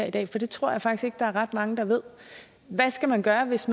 i dag for det tror jeg faktisk ikke der er ret mange der ved hvad skal man gøre hvis